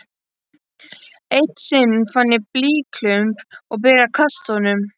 Eitt sinn fann ég blýklump og byrjaði að kasta honum.